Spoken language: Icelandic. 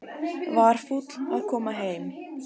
Var fúll að koma heim